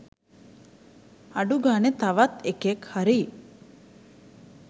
අඩු ගානේ තවත් එකෙක් හරි